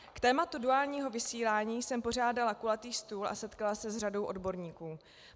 K tématu duálního vysílání jsem pořádala kulatý stůl a setkala se s řadou odborníků.